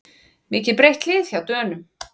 Mikið breytt lið hjá Dönum